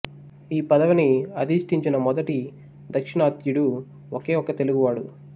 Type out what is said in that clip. ఈ పదవిని అధిష్టించిన మొదటి దాక్షిణాత్యుడు ఒకే ఒక్క తెలుగువాడు